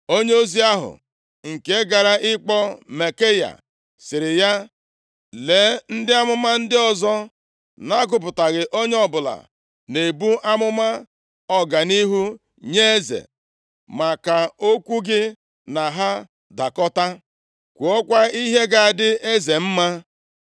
Onyeozi ahụ nke gara ịkpọ Maikaya sịrị ya, “Lee, ndị amụma ndị ọzọ na-agụpụghị onye ọbụla na-ebu amụma ọganihu nye eze. Mee ka okwu gị na ha dakọta. Kwuokwa ihe ga-adị eze mma.”